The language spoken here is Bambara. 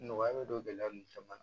Nɔgɔya bɛ don gɛlɛya ninnu caman na